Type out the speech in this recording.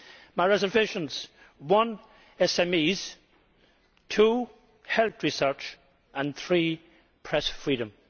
My reservations one, SMEs two, health research and three, press freedom.